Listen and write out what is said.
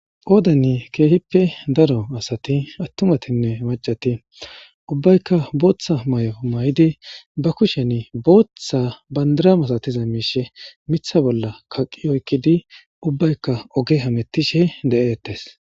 Qoodan keehippe daro asati attumatinne macati ubbaykka booththa mayo mayidi ba kushen booththa bandaram asatiza miishe mitha bolla kaqi oykkidi ubbaykka oge hamettishe de'ettes